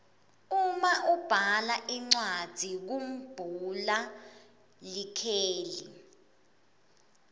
uma ubhala incwadzi kumbhula likheli